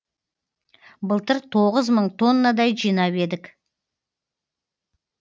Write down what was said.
былтыр тоғыз мың тоннадай жинап едік